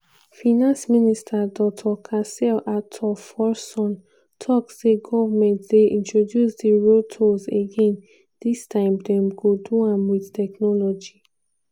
finance minister dr casiel ato forson tok say goment dey introduce di road tolls again dis time dem go do am wit technology.